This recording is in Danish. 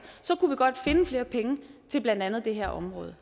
så kunne vi godt finde flere penge til blandt andet det her område